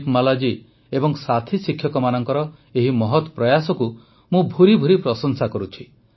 ଦୀପମାଲା ଜୀ ଏବଂ ସାଥୀ ଶିକ୍ଷକମାନଙ୍କର ଏହି ମହତ୍ ପ୍ରୟାସକୁ ମୁଁ ଭୁରିଭୁରି ପ୍ରଶଂସା କରୁଛି